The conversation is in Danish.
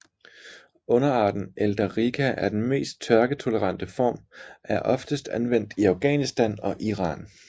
Underarten eldarica er den mest tørketolerante form er oftest anvendt i Afghanistan og Iran